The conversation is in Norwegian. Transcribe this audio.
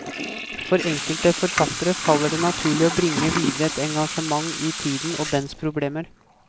For enkelte forfattere faller det naturlig å bringe videre et engasjement i tiden og dens problemer.